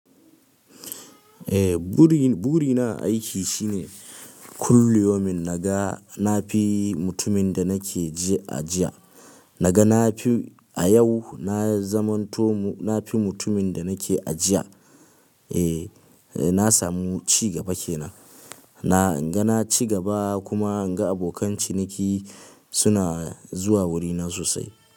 Eh, buri burina a aiki shine kulli yaumin naga na fi mutumin da nake a jiya. Naga na fi a yau na zamanto na fi mutumin da nake a jiya. E, na samu ci gaba kenan. Na in ga na ci gaba kuma inga abokan ciniki suna zuwa wurina sosai.